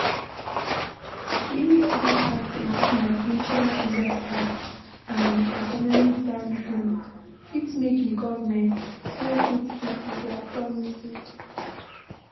Many oda factors like natural disaster and economic downturn fit make di government no fit keep their promises